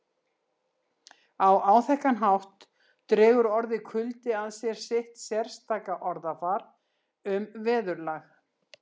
Á áþekkan hátt dregur orðið kuldi að sér sitt sérstaka orðafar um veðurlag